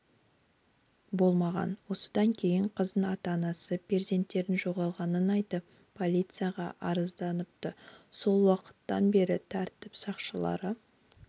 болмаған осыдан кейін қыздың ата-анасы перзенттерінің жоғалғанын айтып полицияға арызданыпты сол уақыттан бері тәртіп сақшылары